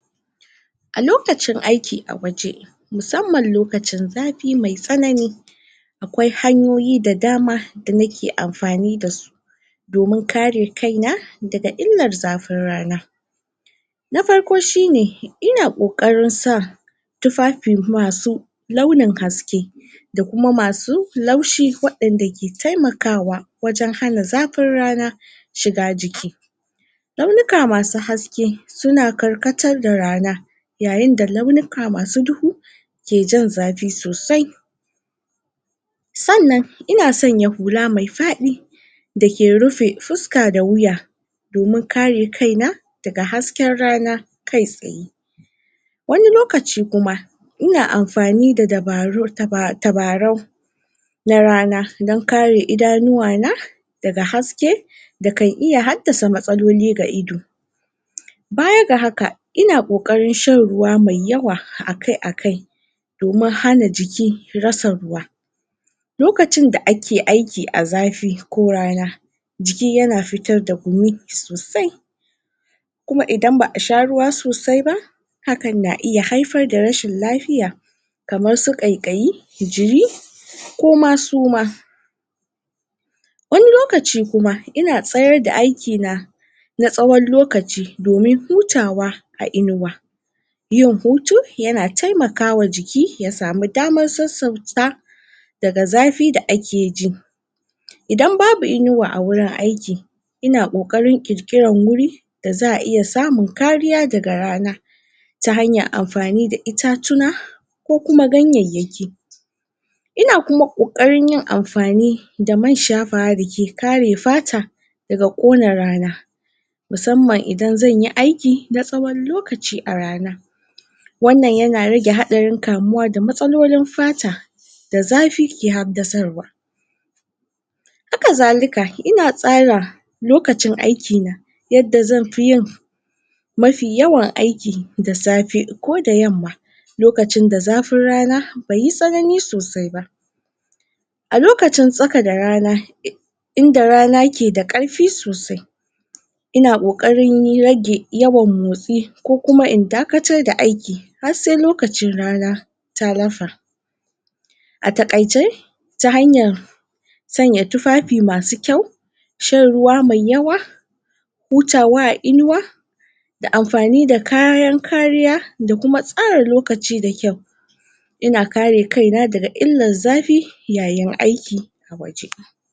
A lokacin aiki a waje musamman lokacin zafi mai tsananin akwai hanyoyi da dama da na ke amfani da su domin kare kai na da ga illar zafin rana. Na farko shi ne, ina ƙoƙarin sa tufafi masu launin haske da kuma masu laushi wadan da ke taimakawa wajen hana zafin rana shiga jiki. Launuka masu haske, su na karkatar da rana yayin da launika masu duhu ke jan zafi sosai. Tsannan, ina tsanya hula mai fadi da ke rufe fuska da wuya domin kare kaina da ga hasken rana kai tsaye. Wani lokaci kuma ina amfani da dabaru taba tabarau na rana don kare idanuwa na daga haske da kan iya hadasa matsaloli ga ido. Baya ga haka ina ƙoƙarin shan ruwa mai yawa akai akai domin hana jiki, rasa ruwa. Lokacin da ake aiki a zafi ko rana jiki ya na fitar da gumi sosai kuma idan baa sha ruwa sosai ba hakan na iya haifar da rashin lafiya kamar su ƙaƙayi, jiri koma suma. Wani lokaci kuma, ina tsayar da aiki na na tsawon lokaci domin hutawa a inuwa. yin hutu ya na taimakawa jiki ya samu damar sasauta daga zafi da ake ji. Idan babu inuwa a wurin aiki ina ƙoƙarin ƙirƙiran wuri, da zaa iya samu, kariya da ga rana. Ta hanyar amfani da itatuna ko kuma ganyayaki ina kuma ƙoƙarin yin amfani da man shafawa da ke ƙare fata da ga kona rana. Musamman idan zan yi aiki, na sawon lokaci a rana, wannan ya na rage, haɗarin kamuwa da matsalolin fata da zafi ke habdasarwa. Haka zalika yina tsara lokacin aiki na, yadda zan fi yin mafi yawan aiki da safe ko da yamma lokacin da zafin rana baiyi tsananin sosai ba. A lokacin tsaka da rana in da rana ke da karfi sosai ina ƙoƙarin rage yawan motsi ko kuma in dakatar da aiki har se lokacin rana. Tallafa a takaice ta hanyar tsanya tufafi masu kyau shan ruwa mai yawa hutawa a inuwa, da amfani da kariyan kariya da kuma tsara lokaci da kyau. Ina kare kai na daga illar zafi yayin aiki a waje.